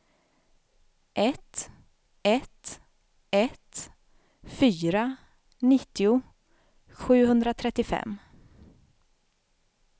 ett ett ett fyra nittio sjuhundratrettiofem